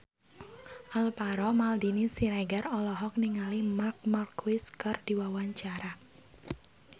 Alvaro Maldini Siregar olohok ningali Marc Marquez keur diwawancara